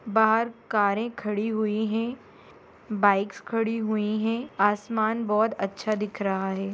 बाहर कारें खड़ी हुई है बाइक्स खड़ी हुई है आसमान बहुत अच्छा दिख रहा है।